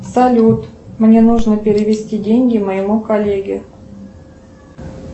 салют мне нужно перевести деньги моему коллеге